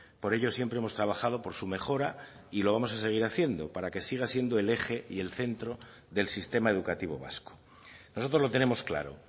por ello siempre hemos trabajado por su mejora y lo vamos a seguir haciendo para que siga siendo el eje y el centro del sistema educativo vasco nosotros lo tenemos claro